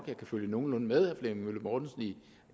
jeg kan følge nogenlunde med herre flemming møller mortensen i